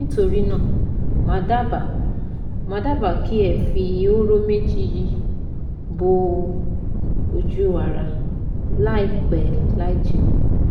Nítorí náà, màá dábàá màá dábàá kí ẹ fi hóró méjì yìí bọ ojú ara láìpẹ́ láì jìnà